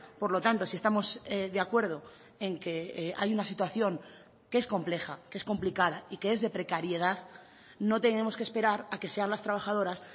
por lo tanto si estamos de acuerdo en que hay una situación que es compleja que es complicada y que es de precariedad no tenemos que esperar a que sean las trabajadoras